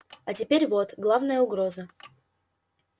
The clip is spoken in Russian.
а теперь вот главная угроза